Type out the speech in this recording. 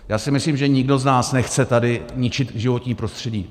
Já si myslím, že nikdo z nás nechce tady ničit životní prostředí.